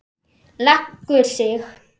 Leggur sig.